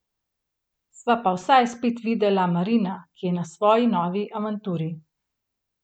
Sva pa vsaj spet videla Marina, ki je na svoji novi avanturi.